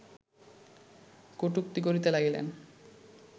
কটূক্তি করিতে লাগিলেন